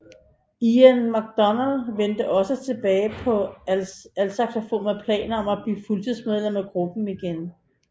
Ian McDonald vendte også tilbage på altsaxofon med planer om at blive fuldtidsmedlem af gruppen igen